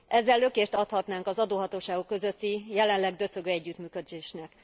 Ezzel lökést adhatnánk az adóhatóságok közötti jelenleg döcögő együttműködésnek.